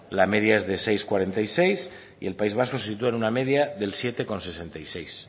la media es de seis coma cuarenta y seis y el país vasco se sitúa en una media del siete coma sesenta y seis